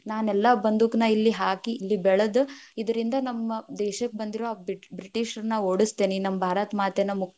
ನಾನ್‌ ಎಲ್ಲಾ ಬಂದೂಕ್ ನ ಇಲ್ಲಿ ಹಾಕಿ, ಇಲ್ ಬೆಳೆದ್ ಇದರಿಂದ ನಮ್ಮ ದೇಶಕ್ ಬಂದಿರೋ ಆ ಬ ಬ್ರಿಟಿಷರನ್ನ ಓಡಸ್ತೇನಿ, ನಮ್ಮ ಭಾರತಮಾತೆನ.